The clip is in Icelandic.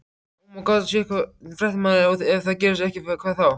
Ónefndur fréttamaður: Og ef það gerist ekki, hvað þá?